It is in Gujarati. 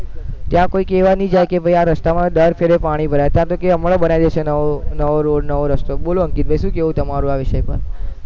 ત્યાં કોઈ કેવા ભી જાય કે ભૈ આ રસ્તામાં દર ખેલે ભરાઈ છે આપણે કઈ હમણાં ભરાઈ જશે નવો રસ્તો બોલો અંકિતભાઈ શું કેવું તમારું આ વિષય પર